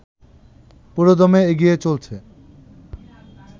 পুরোদমে এগিয়ে চলছে